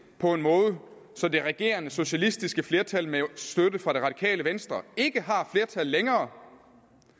på en måde så det regerende socialistiske flertal med støtte fra det radikale venstre ikke har flertal længere